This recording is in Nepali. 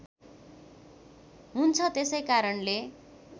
हुन्छ त्यसै कारणले